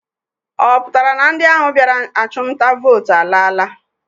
Ọ pụtara na ndị ahụ bịara achụmnta vootu alaala?